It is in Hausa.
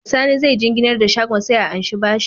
Saini zai jinginnar da shagon shi a anshi bashi